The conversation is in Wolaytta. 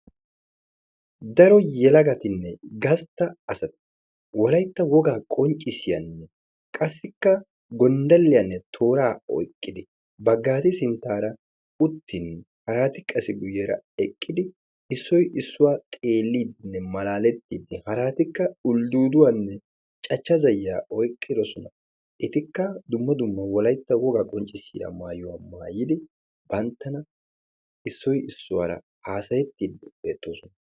daro yelagatinne gastta asti wolayitta wogaa qonccissiyanne qassikka gonddalliyanne tooraa oyiqqidi baggaade sinttaara uttin haraati qassi sinttaara eqqidi issoy issuwa xeelliiddinne malaalettiiddi etikka uldduuduwanne cachcha zayyiya oyqqidosona etikka cachcha zayyiyanne dumma dumma wolaytta wogaa qonccissiya mayuwa mayyidi banttana issoy issuwara haasayettiiddi beettoosona.